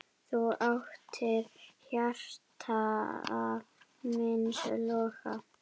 Þú áttir hjarta míns loga.